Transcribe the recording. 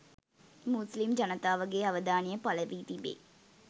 මුස්ලිම් ජනතාවගේ අවධානය පළ වී තිබේ